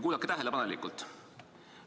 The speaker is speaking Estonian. Kuulake tähelepanelikult!